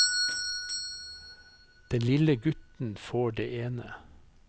Den lille gutten får det ene.